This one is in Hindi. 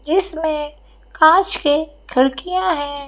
जिसमें कांच के खिड़कियां हैं।